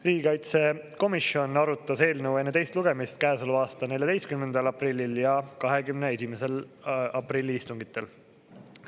Riigikaitsekomisjon arutas eelnõu enne teist lugemist käesoleva aasta 14. aprilli ja 21. aprillil istungitel.